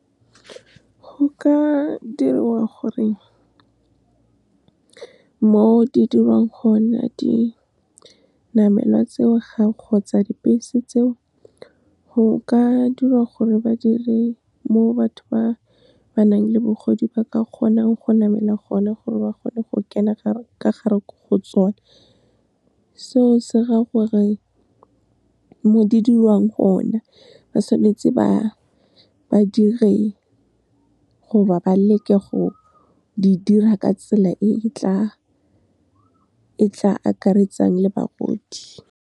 Go ka diriwa gore mo di diriwang gona dinamelwa tseo ga kgotsa dibese tseo, go ka dirwa gore ba dire mo batho ba ba nang le bagodi ba ka kgonang go namela gone, gore ba kgone go kena ka gare go tsona. Seo se raya gore, mo di dirwang gone ba tshwanetse ba dire gore ba leke go di dira ka tsela e tla akaretsang le bagodi.